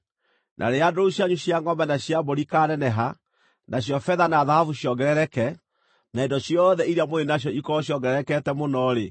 na rĩrĩa ndũũru cianyu cia ngʼombe na cia mbũri ikaaneneha, nacio betha na thahabu ciongerereke, na indo ciothe iria mũrĩ nacio ikorwo ciongererekete mũno-rĩ,